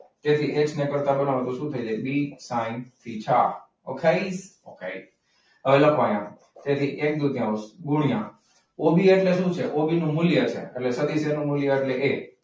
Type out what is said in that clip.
જેથી એક્સને કરતા બનાવો. તો શું થઈ જાય? B sine theta. okay okay હવે લખવાનું જેથી એક દુત્યૌંશ ગુણ્યા ઓબી એટલે શું છે ઓબીનું મૂલ્ય છે એટલે સદિશ એ નું મૂલ્ય એ.